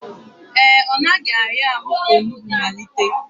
Ee, ọ naghị ahịa arụ ka onugbu malite